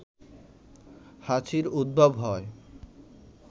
হাঁচির উদ্ভব হয়